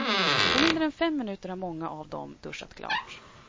På mindre än fem minuter har många av dem duschat klart.